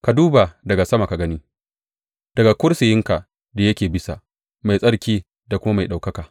Ka duba daga sama ka gani daga kursiyinka da yake bisa, mai tsarki da kuma mai ɗaukaka.